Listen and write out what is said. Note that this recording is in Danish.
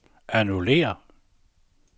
annullér